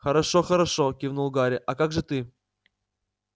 хорошо-хорошо кивнул гарри а как же ты